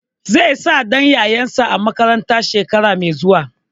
Zai sa ɗan yayansa a makaranta shekara mai zuwa.